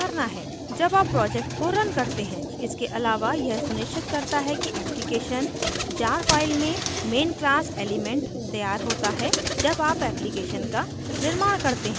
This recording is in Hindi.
इसके अलावा यह सुनिश्चित करता है कि application jar file में main class element तैयार होता है जब आप application का निर्माण करते हैं